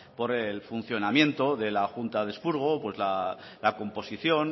por el funcionamiento de la junta de expurgo la composición